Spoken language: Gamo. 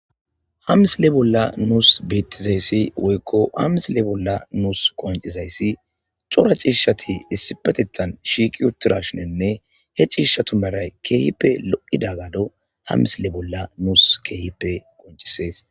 hamisile bolla nuus bettizayssi woykko hamisile bolla nuus qoncizayssi cora ciishati issi petetan shiiki uttirashinenne he ciishatu maray keehippe lo7ida gado hamisile bolla nuus keehippe qoncisees